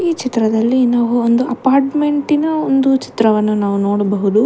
ಈ ಚಿತ್ರದಲ್ಲಿ ನಾವು ಒಂದು ಅಪಾರ್ಟ್ಮೆಂಟಿ ನ ಒಂದು ಚಿತ್ರವನ್ನು ನಾವು ನೋಡಬಹುದು.